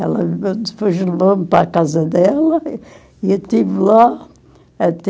Ela depois levou-me para a casa dela e eu estive lá até...